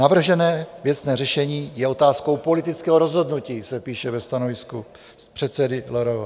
Navržené věcné řešení je otázkou politického rozhodnutí," se píše ve stanovisku předsedy LRV.